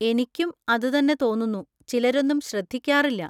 എനിക്കും അതുതന്നെ തോന്നുന്നു, ചിലരൊന്നും ശ്രദ്ധിക്കാറില്ല.